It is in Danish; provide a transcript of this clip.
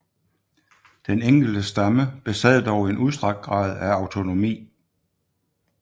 Den enkelte stamme besad dog en udstrakt grad af autonomi